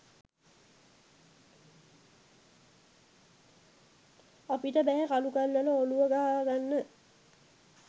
අපිට බැහැ කළු ගල්වල ඔළුව ගහා ගන්න